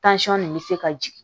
nin bɛ se ka jigin